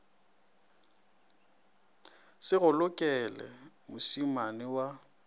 se go lokele mošemane wa